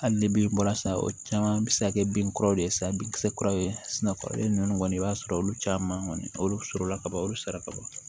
Hali ni bin bɔra san o caman bi se ka kɛ binkuraw de ye sa bin kisɛ kuraw kɔrɔlen nunnu kɔni i b'a sɔrɔ olu caman kɔni olu sɔrɔla ka ban olu sɔrɔ ka ban